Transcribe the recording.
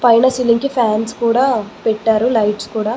పైన సీలింగ్ కి ఫ్యాన్స్ కూడా పెట్టారు లైట్స్ కూడ--